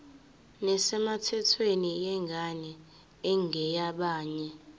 nesemthethweni yengane engeyabanye